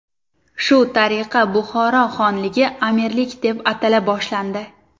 Shu tariqa Buxoro xonligi amirlik deb atala boshlandi.